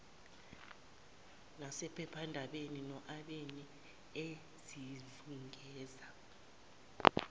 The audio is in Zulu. nasephephandabeni noabeni ezizungeza